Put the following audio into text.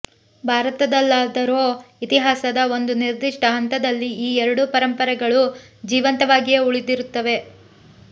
ಭಾರತದಲ್ಲಾದರೋ ಇತಿಹಾಸದ ಒಂದು ನಿರ್ದಿಷ್ಟ ಹಂತದಲ್ಲಿ ಈ ಎರಡೂ ಪರಂಪರೆಗಳು ಜೀವಂತವಾಗಿಯೇ ಉಳಿದಿರುತ್ತವೆ